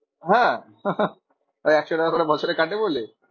হ্যাঁ? ওই একশো টাকা করে বছরে কাটে বলে?